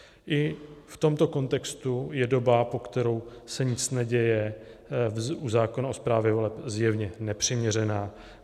I v tomto kontextu je doba, po kterou se nic neděje, u zákona o správě voleb zjevně nepřiměřená.